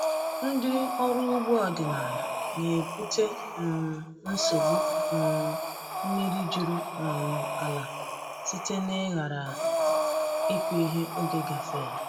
Ndị ọrụ ugbo ọdịnala na-ebute um nsogbu um mmiri juru um ala site n’ịghara ịkụ ihe oge gafeela.